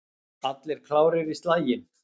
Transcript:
Allir klárir í slaginn?